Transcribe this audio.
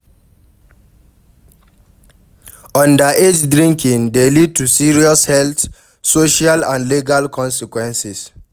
Underage drinking dey lead to serious health, social and legal consequences.